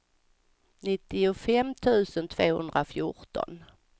nittiofem tusen tvåhundrafjorton